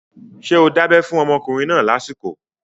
Ṣé o dábẹ́ fún ọmọkùnrin náà lásìkò?